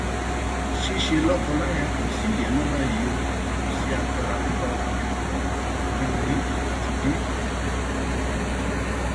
ṣíṣe lọkọláya kò sí ìyẹn mọ báyìí o kò sí agbára bíbá obìnrin lò pọ mọ nítorí àgbà ti dé